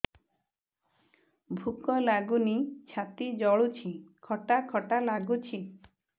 ଭୁକ ଲାଗୁନି ଛାତି ଜଳୁଛି ଖଟା ଖଟା ଲାଗୁଛି